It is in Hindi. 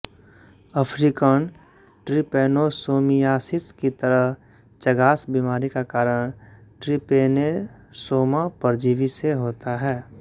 अफ्रीकन ट्रिपैनोसोमियासिस की तरह चगास बीमारी का कारण ट्रिपेनोसोमा परजीवी से होता है